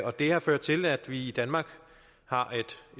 at det har ført til at vi i danmark har